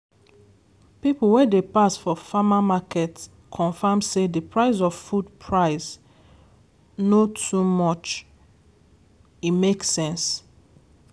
people wey dey pass for farmer market confirm say the price of food price no too much e make sense